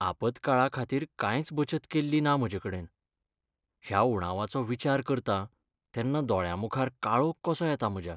आपतकाळाखातीर कांयच बचत केल्ली ना म्हजेकडेन. ह्या उणावाचो विचार करतां तेन्ना दोळ्यांमुखार काळोख कसो येता म्हज्या.